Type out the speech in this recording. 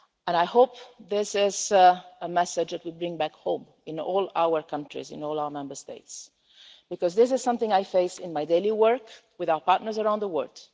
I hope this is a message that we bring back home to all our countries, to all our Member States, because this is something I face in my daily work with our partners around the world.